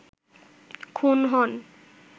খুন হন